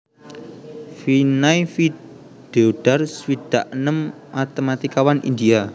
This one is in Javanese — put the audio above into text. Vinay V Deodhar swidak enem matématikawan India